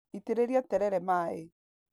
Itĩrĩria terere maĩ.